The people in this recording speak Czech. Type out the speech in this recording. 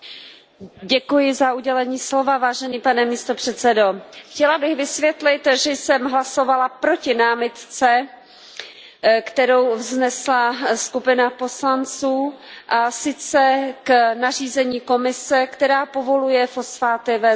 Pane předsedající, chtěla bych vysvětlit, že jsem hlasovala proti námitce, kterou vznesla skupina poslanců, a sice k nařízení Komise, které povoluje fosfáty ve zmrazeném mase.